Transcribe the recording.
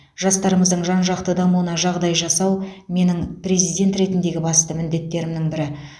жастарымыздың жан жақты дамуына жағдай жасау менің президент ретіндегі басты міндеттерімнің бірі